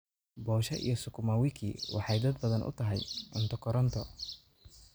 posha iyo sukuma wiki waxay dad badan u tahay cunto koronto.